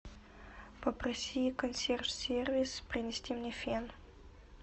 попроси консьерж сервис принести мне фен